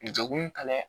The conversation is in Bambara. Degun kalan dɛ